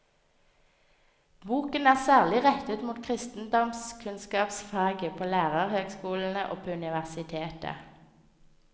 Boken er særlig rettet mot kristendomskunnskapsfaget på lærerhøgskolene og på universitetet.